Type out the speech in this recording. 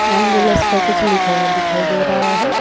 Ambulance पर कुछ लिखा हुआ दिखाई दे रहा है।